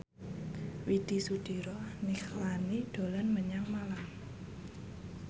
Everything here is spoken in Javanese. Widy Soediro Nichlany dolan menyang Malang